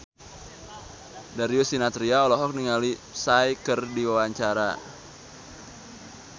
Darius Sinathrya olohok ningali Psy keur diwawancara